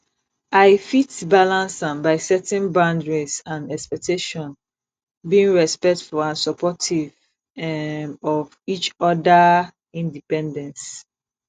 i fit balance am by setting boundaries and expectations being respectful and supportive um of each odaa independence